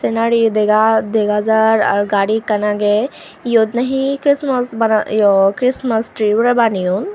senari yo dega dega jaar ar gari ekkan agey eyot nahi christmas bana yo christmas tree bo re baneyon.